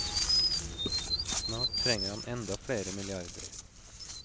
Snart trenger han enda flere milliarder.